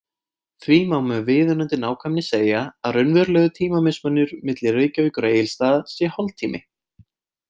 Því má með viðunandi nákvæmni segja að raunverulegur tímamismunur milli Reykjavíkur og Egilsstaða sé hálftími.